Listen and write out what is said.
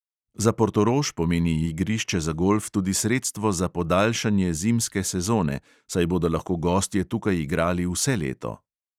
Za portorož pomeni igrišče za golf tudi sredstvo za podaljšanje zimske sezone, saj bodo lahko gostje tukaj igrali vse leto.